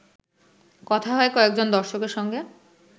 কথা হয় কয়েকজন দর্শকের সঙ্গে